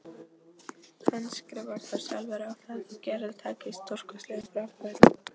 Handskrifar þá sjálfur á það að Gerður taki stórkostlegum framförum.